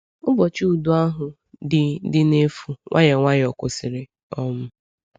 Ụbọchị udo ahụ dị dị n’efu nwayọọ nwayọọ kwụsịrị. um